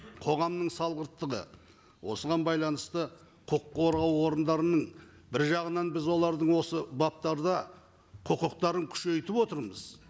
қоғамның салғырттығы осыған байланысты қорғау орындарының бір жағынан біз олардың осы баптарда құқықтарын күшейтіп отырмыз